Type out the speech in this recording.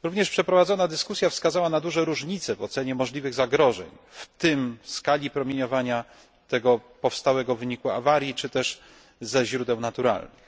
Przeprowadzona dyskusja wskazała również na duże różnice w ocenie możliwych zagrożeń, w tym skali promieniowania tego powstałego w wyniku awarii czy też ze źródeł naturalnych.